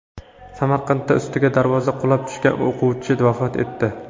Samarqandda ustiga darvoza qulab tushgan o‘quvchi vafot etdi .